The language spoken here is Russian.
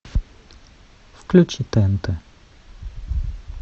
включи тнт